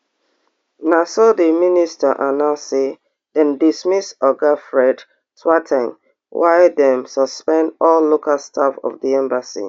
na so di minister announce say dem dismiss oga fred kwar ten g while dem suspend all local staff of di embassy